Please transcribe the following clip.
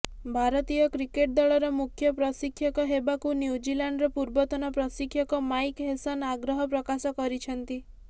ଭାରତୀୟ କ୍ରିକେଟ୍ ଦଳର ମୁଖ୍ୟ ପ୍ରଶିକ୍ଷକ ହେବାକୁ ନ୍ୟୁଜିଲାଣ୍ଡର ପୂର୍ବତନ ପ୍ରଶିକ୍ଷକ ମାଇକ୍ ହେସନ ଆଗ୍ରହ ପ୍ରକାଶ କରିଛନ୍ତି